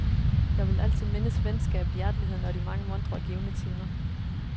Jeg vil altid mindes venskabet, hjerteligheden og de mange muntre og givende timer.